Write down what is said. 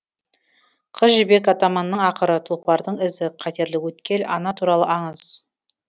қыз жібек атаманның ақыры тұлпардың ізі қатерлі өткел ана туралы аңыз